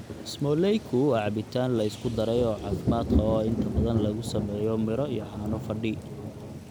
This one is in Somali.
Smooleyku waa cabitaan la isku daray oo caafimaad qaba oo inta badan lagu sameeyo miro iyo caano fadhi.